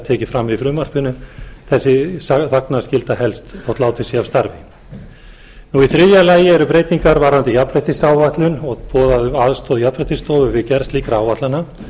tekið fram í frumvarpinu sú þagnarskylda helst þótt látið sé af starfi í þriðja lagi eru breytingar varðandi jafnréttisáætlun og beðið um aðstoð jafnréttisstofu við gerð slíkra áætlana